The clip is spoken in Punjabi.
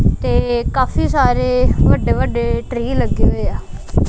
ਤੇ ਕਾਫੀ ਸਾਰੇ ਵੱਡੇ ਵੱਡੇ ਟ੍ਰੀ ਲੱਗੇ ਹੋਇ ਆ।